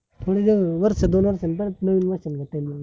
वर्ष दोन वर्ष नी परत नवीन त्यांनी